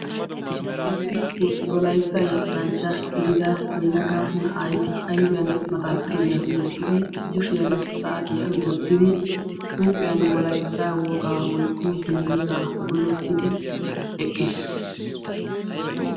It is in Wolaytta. Issi wolaytta yettanchcha gidida yelaga na'ay ayfiyaan maxaaxiriyaa wottidi kushshiyaan saatiyaa wottidi huuphphiyaa wolaytta wogaa woykko dungguzaa gulettidi eqqiis.